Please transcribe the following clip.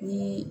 Ni